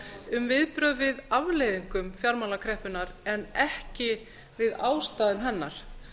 um viðbrögð við afleiðingum fjármálakreppunnar en ekki við ástæðum hennar